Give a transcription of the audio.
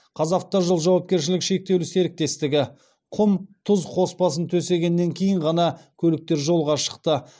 қазавтожол жауапкершілігі шектеулі серіктестігі құм тұз қоспасын төсегеннен кейін ғана көліктер жолға шықты